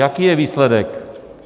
Jaký je výsledek?